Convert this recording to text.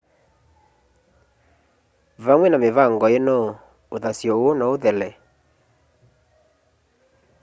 vamwe na mĩvango ĩno ũthasyo ũũ no ũthele